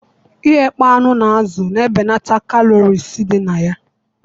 Ighakpo anụ na azụ na ebenata kalories dị na ya